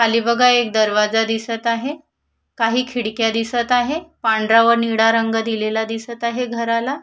खाली बघा एक दरवाजा दिसत आहे काही खिडक्या दिसत आहे पांढरा व निळा रंग दिलेला दिसत आहे विद्युत कार्यालयला.